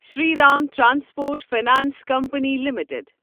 Shri Ram transport finance company limited